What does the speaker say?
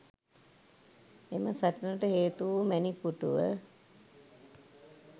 එම සටනට හේතුවූ මැණික් පුටුව